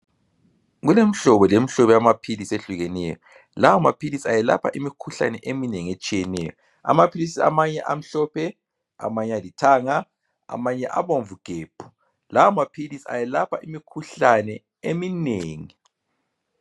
Kulemhlobo lemhlobo yamaphilisi ayehlukeneyo. Lawa maphilisi ayelapha imikhuhlane eminengi etshiyeneyo. Amaphilisi amanye amhlophe, amanye alithanga amanye abomvu gebhu. Lawa maphilisi ayelapha imkhuhlane eminengi.